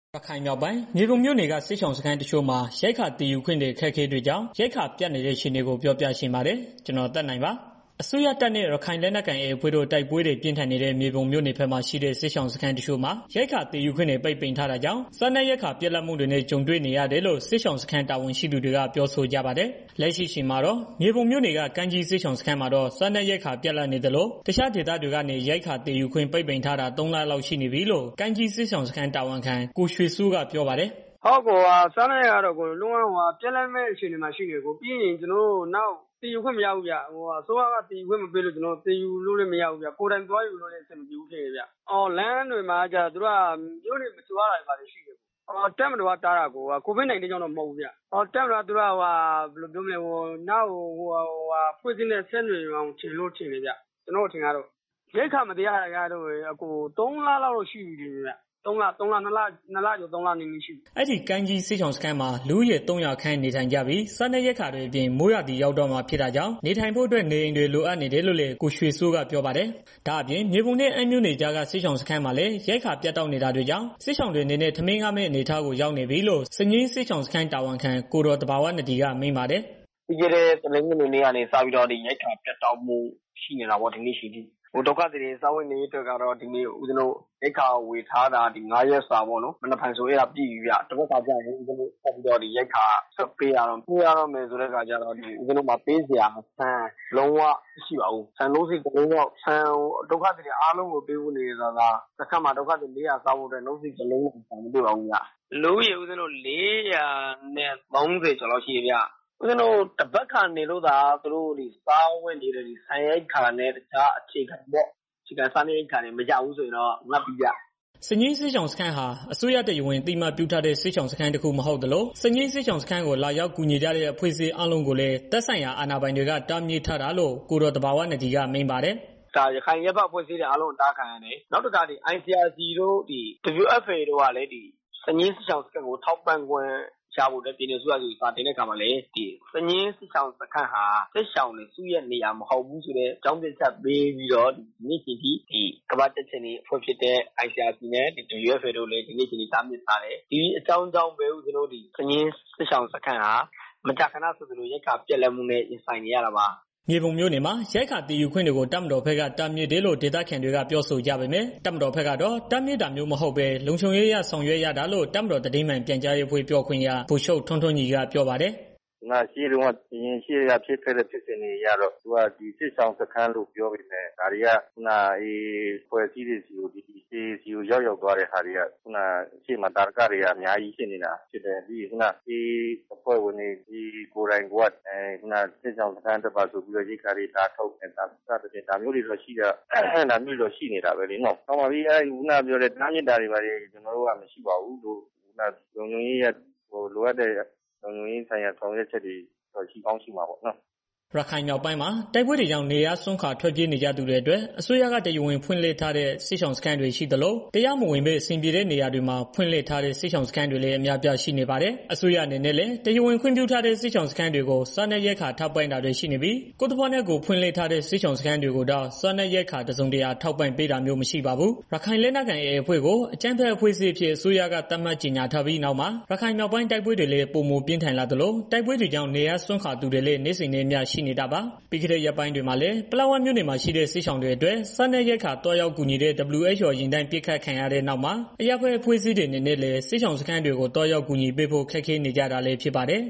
ရခိုင်မြောက်ပိုင်း မြေပုံမြို့နယ်က စစ်ရှောင်စခန်းတချို့မှာ ရိက္ခာသယ်ယူခွင့်တွေ အခက်အခဲတွေကြောင့် ရိက္ခာပြတ်နေတဲ့ အခြေအနေကို ပြောပြချင်ပါတယ်။ ဒီအကြောင်း ဗွီအိုအေမြန်မာပိုင်းသတင်းထောက် ကိုသက်နိုင်က သတင်းပေးပို့ထားပါတယ်။ အစိုးရတပ်နဲ့ ရခိုင်လက်နက်ကိုင် AA အဖွဲ့တို့ တိုက်ပွဲတွေပြင်းထန်နေတဲ့ မြေပုံမြို့နယ်ဘက်မှာ ရှိတဲ့ စစ်ရှောင် စခန်းတချို့မှာ ရိက္ခာသယ်ယူခွင့်တွေ ပိတ်ပင်ထားတာကြောင့် စားနပ်ရိက္ခာပြတ်လပ်မှုတွေနဲ့ ကြုံတွေ့နေရတယ်လို့ စခန်းတာဝန်ရှိသူတွေက ပြောဆိုကြပါတယ်။ လက်ရှိအချိန်မှာတော့ မြေပုံမြို့နယ်က ကိုင်းကြီးစစ်ရှောင်စခန်းမှာတော့ စားနပ်ရိက္ခာပြတ်လပ်နေသလို တခြားဒေသတွေကနေ ရိက္ခာသယ်ယူခွင့်ပိတ်ပင်ထားတာ ၃ လလောက်ရှိနေပြီလို့ ကိုင်းကြီးစစ်ရှောင်စခန်းတာဝန်ခံ ကိုရွှေစိုးက ပြောပါ တယ်။ "စားနပ်ရိက္ခာကတော့ ပြတ်လပ်မယ့် အနေအထား ရှိနေပြီခင်ဗျာ။ နောက်ပြီးတော့ စားနပ်ရိက္ခာတွေ သယ်ယူခွင့်မရဘူးခင်ဗျ။ ကိုယ်တိုင်သွားယူမယ်ဆိုရင်လည်း မရဘူး။ လမ်းတွေမှာကျတော့ မြို့နယ်တွေ မကျော်ရတာရှိတယ်။တပ်မတော်က တားတာ COVID-19 ကြောင့်တော့ မဟုတ်ဘူးခင်ဗျာ။ တပ်မတော်က တားတာကတော့ နောက်အဖွဲ့အစည်းတွေနဲ့ ဆက်နွယ်နေတယ်ထင်လို့ တားတာဖြစ်မယ်။ ရိက္ခာမသယ်ရတာတော့ သုံးလလောက်တော့ ရှိနေပြီ။" အဲဒီကိုင်းကြီးစစ်ရှောင်စခန်းမှာ လူဦးရေ ၃၀၀ ခန့်နေထိုင်ကြပြီး စားနပ်ရိက္ခာတွေ အပြင် မိုးရာသီရောက်တော့မှာ ဖြစ်တာကြောင့် နေထိုင်ဖို့အတွက် နေအိမ်တွေ လိုအပ်နေတယ်လို့လည်း ကိုရွှေစိုးက ပြောပါတယ်။ ဒါအပြင် မြေပုံနဲ့ အမ်းမြို့နယ်ကြားက စညင်းစစ်ရှောင်စခန်းမှာလည်း ရိက္ခာပြတ်တောက်နေတာကြောင့် စစ်ရှောင်တွေအနေနဲ့ ထမင်းငတ်မယ့် အနေအထားကို ရောက်နေပြီလို့ စညင်းစစ်ရှောင်စခန်းတာဝန်ခံ ကိုယ်တော်သဘာဝနဒီက မိန့်ပါတယ်။ "ပြီးခဲ့တဲ့ တနင်္ဂနွေနေ့ကနေပြီးတော့ ရိက္ခာပြတ်တောက်မှု ရှိနေတာပေါ့နော်။ စားဝတ် နေရေးအတွက်ကတော့ ဦးဇင်းတို့ ရိက္ခာဝယ်ထားတာ ၅ ရက်စာ မနက်ဖြန်ဆိုရင် ပြည့်ပြီဗျာ။ အဲတော့ သန်ဖက်ခါကျရင် ဦးဇင်းတို့က ရိက္ခာ ပြန်ဝယ်ရတော့မှာ ပေးရတော့မယ်ဆိုတော့ ဆန်က လုံးဝမရှိတော့ဘူး။ ဆန်က ဒုက္ခသည်တွေအားလုံးကို ပေးဖို့ နေနေသာသာ စခန်းမှာ လူ ၄၀၀ စားဖို့အတွက် ဆန်က နို့စည်တစ်လုံးတောင် မရှိတော့ပါဘူးခင်မျာ။ စခန်းမှာ လူဦးရေ ၄၀၀ ကျော်ရှိတယ်။ သန်ဖက်ခါနေလို့မှ စားဝန်နေရေးအတွက် ဆန်ရိက္ခာမရရင် ငတ်ပြီဗျာ။ " စညင်းစစ်ရှောင်စခန်းဟာ အစိုးရက တရားဝင်အသိအမှတ်ပြုထားတဲ့ စခန်းမဟုတ်သလို စညင်းစစ်ရှောင်စခန်းကို လာရောက်ကူညီကြတဲ့ အဖွဲ့အစည်းအားလုံးကိုလည်း သက်ဆိုင်ရာအာဏာပိုင်တွေက တားမြစ်ထားတယ်လို့ ကိုယ်တော်သဘာဝနဒီက မိန့်ပါတယ်။ "ရခိုင်အရပ်ဘက်အဖွဲ့အစည်းတွေ အားလုံးအတားခံရတယ်။ ICRC တို့၊ WFP တို့က စညင်းစစ်ရှောင်စခန်း ထောက်ပံ့ပေးဖို့အတွက် ပြည်နယ်အစိုးရဆီမှာ စာတင်တယ်။ စာတင်တဲ့အခါမှာလည်း စညင်းစစ်ရှောင်စန်းဟာ စစ်ရှောင်တွေ စုရပ်စခန်းတစ်ခု မဟုတ်ဘူးဆိုတဲ့ အကြောင်းပြချက်တစ်ခုတည်းနဲ့ ဒီနေ့အချိန်အထိ တားမြစ်ထားတယ်။ အဲဒါကြောင့်စညင်းစစ်ရှောင်စခန်းဟာ မကြာခဏဆိုသလို ရိက္ခာပြတ်လပ်တာတွေနဲ့ ကြုံတွေ့နေရတယ်။" မြေပုံမြို့နယ်မှာ ရိက္ခာသယ်ယူခွင့်တွေကို တပ်မတော်ဘက်က တားမြစ်တယ်လို့ ဒေသခံတွေကပြော ဆိုကြပေမယ့် တပ်မတော်ဘက်ကတော့ တားမြစ်တာမျိုး မဟုတ်ဘဲ လုံခြုံရေးအရ ဆောင်ရွက်ရတာလို့ တပ်မတော်သတင်းမှန်ပြန်ကြားရေးအဖွဲ့ ပြောခွင့်ရ ဗိုလ်ချုပ်ထွန်းထွန်းညီက ပြောပါတယ်။ "ရှေ့က ဖြစ်ခဲ့တဲ့ ဖြစ်စဉ်တွေအရတော့သူက စစ်ရှောင်စခန်းလို့ပြောပေမဲ့ ဒါတွေက AA အဖွဲ့ဆီကို ရောက်သွားတာက ရှေ့မှာ သာဓကတွေက အများကြီး ရှိနေတာ။ နောက်ပြီးတော့ AA ကိုယ်တိုင်က စစ်ရှောင်တွေပါဆိုပြီး ရိက္ခာလာထုတ်တာတွေ ရှိတယ်။ ဒါမျိုးတွေတော့ ရှိနေတာပဲလေနော့်။ ခုဏကပြောသလို တားမြစ်တာတော့ မရှိဘူး။ လိုအပ်တဲ့ လုံခြုံရေးအရ ဆောင်ရွက်တာတွေတော့ ရှိမှာပါပဲနော့်။" ရခိုင်မြောက်ပိုင်းမှာ တိုက်ပွဲတွေကြောင့် နေရပ်စွန့်ခွာ ထွက်ပြေးနေကြသူတွေအတွက် အစိုးရက တရားဝင် ဖွင့်လှစ်ထားတဲ့ စစ်ရှောင်စခန်းတွေရှိသလို တရားမဝင်ဘဲ အဆင်ပြေတဲ့နေရာတွေမှာ ဖွင့်လှစ်ထားတဲ့ စစ်ရှောင်စခန်းတွေလည်း အများအပြားရှိနေပါတယ်။ အစိုးရအနေနဲ့လည်း တရားဝင်ခွင့်ပြုထားတဲ့ စစ်ရှောင်စခန်းတွေကို စားနပ်ရိက္ခာထောက်ပံ့တာတွေရှိနေပြီး ကိုယ်သဘောနဲ့ ကိုယ်ဖွင့်လှစ်ထားတဲ့ စစ်ရှောင်စခန်းတွေကိုတော့ စားနပ်ရိက္ခာ တစုံတရာထောက်ပံ့ပေးတာမျိုး မရှိပါဘူး။ ရခိုင်လက်နက်ကိုင် AA အဖွဲ့ကို အကြမ်းဖက်အဖွဲ့အစည်းအဖြစ် အစိုးရက သတ်မှတ်ကြေငြာထားပြီး နောက်မှာ ရခိုင်မြောက်ပိုင်း တိုက်ပွဲတွေလည်း ပိုမိုပြင်းထန်လာသလို တိုက်ပွဲတွေကြောင့် နေရပ်စွန့်ခွာသူတွေလည်း နေ့စဉ်နဲ့အမျှနဲ့ ရှိနေတာပါ။ ပြီးခဲ့တဲ့ ရက်ပိုင်းတွေမှာလည်း ပလက်ဝမြို့နယ်မှာရှိတဲ့ စစ်ရှောင်တွေအတွက် စားနပ်ရိက္ခာသွားရောက်ကူညီတဲ့ WHO ယာဉ်တန်းပစ်ခတ်ခံရတဲ့နောက်မှာ အရပ်ဘက်အဖွဲ့အစည်းတွေအနေနဲ့လည်း စစ်ရှောင်စခန်းတွေကို သွားရောက်ကူညီပေးဖို့ ခက်ခဲနေကြတာလည်းဖြစ်ပါတယ်